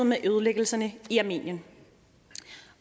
med ødelæggelserne i armenien